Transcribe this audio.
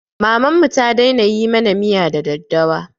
Mamanmu ta daina yi mana miya da daddawa